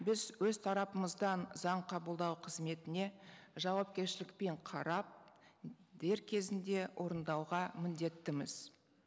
біз өз тарапымыздан заң қабылдау қызметіне жауапкершілікпен қарап дер кезінде орындауға міндеттіміз